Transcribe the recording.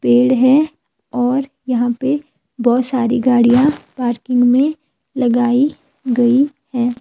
पेड़ है और यहां पे बहोत सारी गाड़ियां पार्किंग में लगाई गई है।